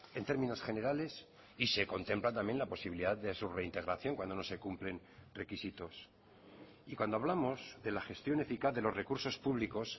en términos generales y se contempla también la posibilidad de su reintegración cuando no se cumplen requisitos y cuando hablamos de la gestión eficaz de los recursos públicos